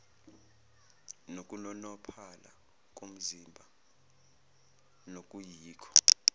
nokunonophala komzimba nokuyikho